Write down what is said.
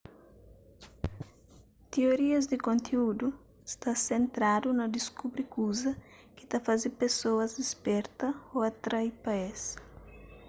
tiorias di konteúdu sta sentradu na diskubri kuze ki ta faze pesoas disperta ô atrai pa es